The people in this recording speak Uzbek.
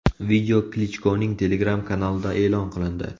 Video Klichkoning Telegram kanalida e’lon qilindi.